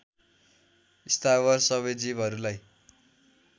स्थावर सबै जीवहरूलाई